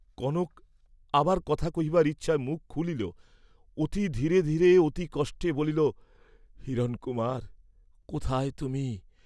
কনক আবার কথা কহিবার ইচ্ছায় মুখ খুলিল, অতি ধীরে ধীরে অতি কষ্টে বলিল, "হিরণকুমার, কোথায় তুমি?"